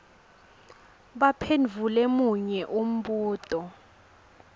baphendvule munye umbuto